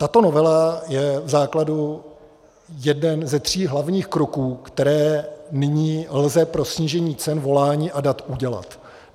Tato novela je v základu jeden ze tří hlavních kroků, které nyní lze pro snížení cen volání a dat udělat.